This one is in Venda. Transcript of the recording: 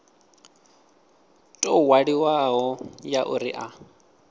tou ṅwaliwaho ya uri a